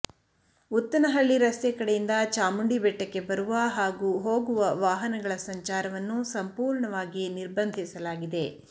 ಉತ್ತನಹಳ್ಳಿ ರಸ್ತೆ ಕಡೆಯಿಂದ ಚಾಮುಂಡಿಬೆಟ್ಟಕ್ಕೆ ಬರುವ ಹಾಗೂ ಹೋಗುವ ವಾಹನಗಳ ಸಂಚಾರವನ್ನು ಸಂಪೂರ್ಣವಾಗಿ ನಿರ್ಬಂಧಿಸಲಾಗಿದೆ